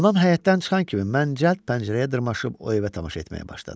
Anam həyətdən çıxan kimi mən cəld pəncərəyə dırmaşıb o evə tamaşa etməyə başladım.